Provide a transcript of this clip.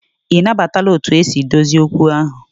I na batala otu esi dozie okwu ahụ?